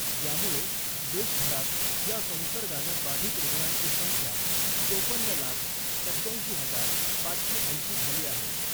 यामुळे देशभरात या संसर्गानं बाधित रुग्णांची संख्या चोपन्न लाख सत्त्याऐंशी हजार पाचशे ऐंशी झाली आहे .